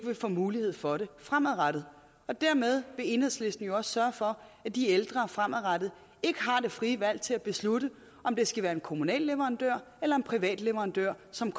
vil få mulighed for det fremadrettet dermed vil enhedslisten jo også sørge for at de ældre fremadrettet ikke har det frie valg til at beslutte om det skal være en kommunal leverandør eller en privat leverandør som